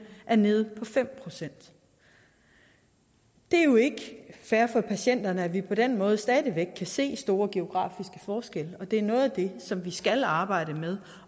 er nede på fem procent det er jo ikke fair for patienterne at vi på den måde stadig væk kan se store geografiske forskelle og det er noget af det som vi skal arbejde med